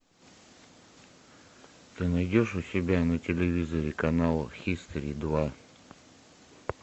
ты найдешь у себя на телевизоре канал хистори два